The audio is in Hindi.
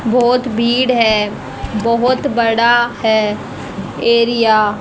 बहोत भीड़ है बहोत बड़ा है एरिया --